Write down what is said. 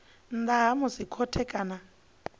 nnḓa ha musi khothe kana